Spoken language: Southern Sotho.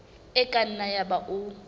e ka nna yaba o